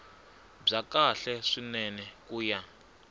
bya kahle swinene ku ya